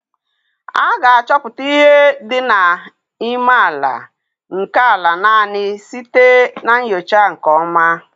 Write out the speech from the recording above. A ga-achọpụta ihe dị n'ime àlà nkè àlà naanị site na ńyòcha nke ọma